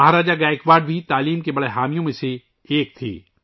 مہاراجہ گائیکواڑ بھی تعلیم کے پرجوش حامیوں میں سے تھے